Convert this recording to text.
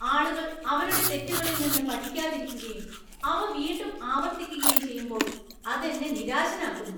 ആളുകൾ അവരുടെ തെറ്റുകളിൽ നിന്ന് പഠിക്കാതിരിക്കുകയും അവ വീണ്ടും ആവർത്തിക്കുകയും ചെയ്യുമ്പോൾ അത് എന്നെ നിരാശനാക്കുന്നു.